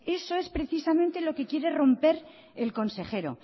etcétera eso es precisamente lo que quiere romper el consejero